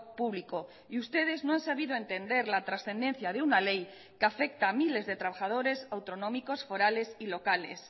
público y ustedes no han sabido entender la trascendencia de una ley que afecta a miles de trabajadores autonómicos forales y locales